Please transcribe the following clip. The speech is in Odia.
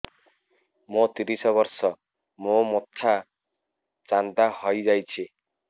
ମୋ ତିରିଶ ବର୍ଷ ମୋ ମୋଥା ଚାନ୍ଦା ହଇଯାଇଛି